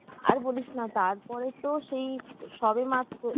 আর বলিস না তারপরে তো সেই সবে মাত্র